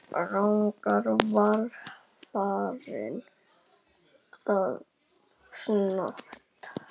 Engin alvara bjó hjá mér.